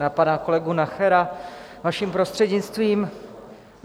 Na pana kolegu Nachera, vaším prostřednictvím.